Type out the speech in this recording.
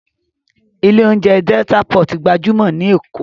Ilé oúnjẹ Delta pot gbajúmọ̀ ní Èkó